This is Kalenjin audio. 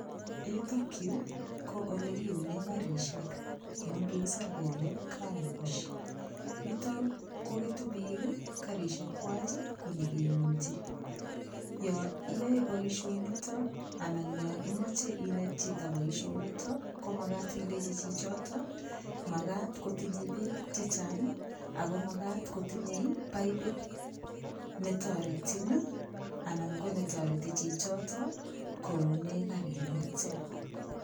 Yutokyu ko ole kiune karishek amun kikiser kele car wash yuto koketu biik karishekwach kunyikeunji yo iyoe boishonito anan yo imoche inet chito boishonito komakat ilechi chichoto makat kotinyei beek chechang' ako makat kotinyei paipit netoretin anan ko netoreti chichito koune kari noto